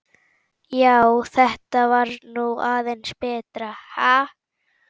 Já, þetta var nú aðeins betra, ha!